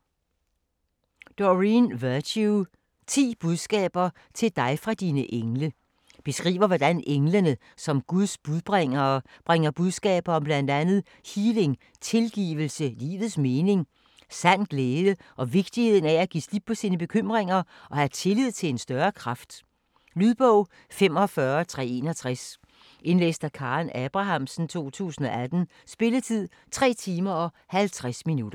Virtue, Doreen: 10 budskaber til dig fra dine engle Beskriver hvordan englene som Guds budbringere bringer budskaber om bl.a. healing, tilgivelse, livets mening, sand glæde og vigtigheden af at give slip på bekymringer og have tillid til en større kraft. Lydbog 45361 Indlæst af Karen Abrahamsen, 2018. Spilletid: 3 timer, 50 minutter.